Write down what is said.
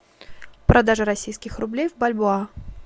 продажа российских рублей в бальбоа